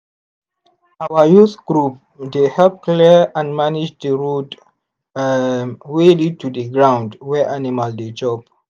our youth group dey help clear and manage the road um wey lead to the ground wey animal dey chop.